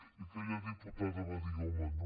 i aquella diputada va dir home no